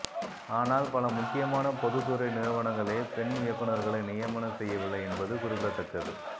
ஆனால் பல முக்கியமான பொதுத்துறை நிறுவனங்களே பெண் இயக்குநர்களை நியமனம் செய்யவில்லை என்பது குறிப்பிடத்தக்கது